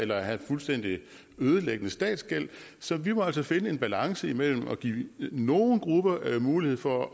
eller have fuldstændig ødelæggende statsgæld så vi må altså finde en balance imellem at give nogle grupper mulighed for